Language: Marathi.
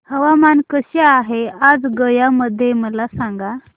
हवामान कसे आहे आज गया मध्ये मला सांगा